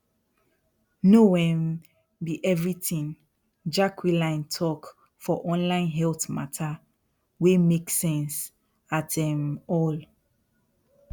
no um be everything jacqueline talk for online health matter wey make sense at um all